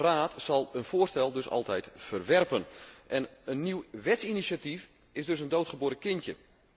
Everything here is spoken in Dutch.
De Raad zal een voorstel dus altijd verwerpen. Een nieuw wetsinitiatief is dus een doodgeboren kindje.